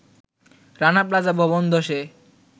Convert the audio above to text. Rana Plaza ভবন ধ্বসের